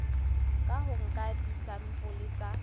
ka ho nka disampole tsa